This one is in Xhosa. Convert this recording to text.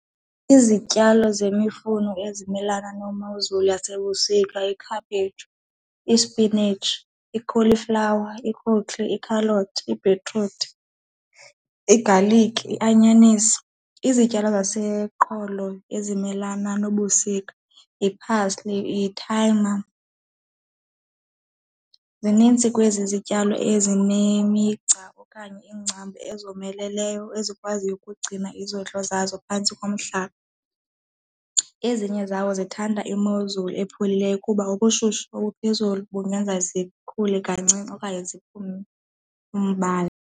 Izityalo zemifuno ezimelana nemozulu yasebusika, ikhaphetshu, ispinatshi, ikholiflawa, ikhaloti, ibhitruthi, igalikhi, ianyanisi. Izityalo zaseqolo ezimelana nobusika yi-parsley, yithayima, zinintsi kwezi zityalo ezinemigca okanye iingcambu ezomeleleyo ezikwaziyo ukugcina izondlo zazo phantsi komhlaba. Ezinye zawo zithanda imozulu epholileyo kuba ubushushu obuphezulu bungenza zikhule kancinci okanye ziphume umbala.